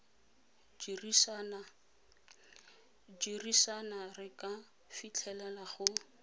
dirisana re ka fitlhelela go